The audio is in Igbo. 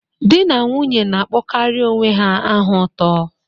Di na nwunye na-akpọkarị onwe ha aha ụtọ.